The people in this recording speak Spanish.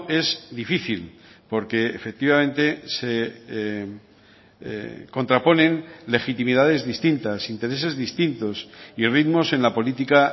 es difícil porque efectivamente se contraponen legitimidades distintas intereses distintos y ritmos en la política